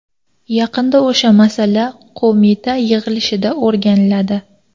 Yakunda o‘sha masala qo‘mita yig‘ilishida o‘rganiladi.